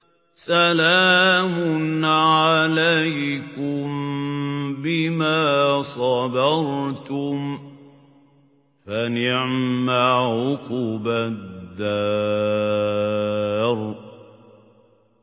سَلَامٌ عَلَيْكُم بِمَا صَبَرْتُمْ ۚ فَنِعْمَ عُقْبَى الدَّارِ